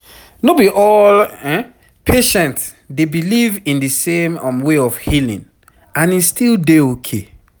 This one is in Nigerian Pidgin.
no be all patient dey believe in di same um way of healing and e still dey okay